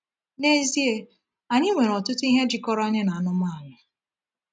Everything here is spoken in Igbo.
N’ezie, anyị nwere ọtụtụ ihe jikọrọ anyị na anụmanụ.